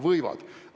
Võivad!